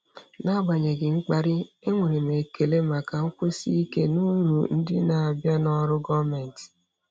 N'agbanyeghị mkparị, enwere m ekele maka nkwụsi ike na uru ndị na-abịa na ọrụ gọọmentị.